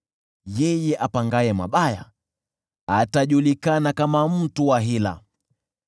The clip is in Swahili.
Yeye apangaye mabaya atajulikana kama mtu wa hila.